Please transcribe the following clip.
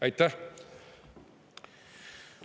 Aitäh!